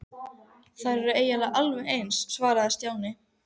Þær eru eiginlega alveg eins svaraði Stjáni.